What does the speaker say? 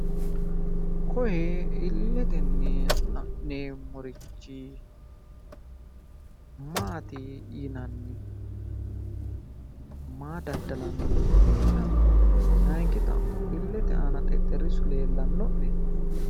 Koye illetenni la'neemmorichi maati yinanni? maa daddalanno leellanno? Layinki xa'mo illete xexxerrisu leellanno'ne?